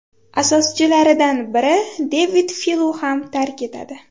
asoschilaridan biri Devid Filo ham tark etadi.